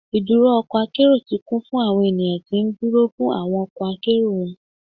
Iduro ọkọ akero ti kun fun awọn eniyan ti nduro fun awọn ọkọ akero wọn